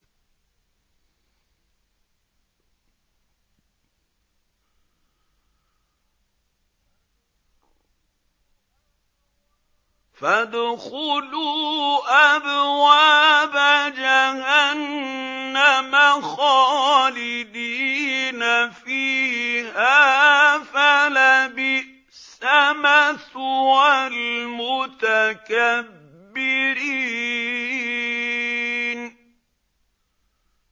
فَادْخُلُوا أَبْوَابَ جَهَنَّمَ خَالِدِينَ فِيهَا ۖ فَلَبِئْسَ مَثْوَى الْمُتَكَبِّرِينَ